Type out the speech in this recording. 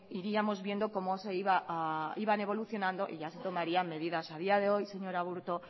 iríamos viendo cómo iban a evolucionando y ya se tomarían medidas a día de hoy señor aburto